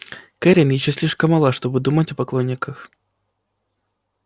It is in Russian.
кэррин ещё слишком мала чтобы думать о поклонниках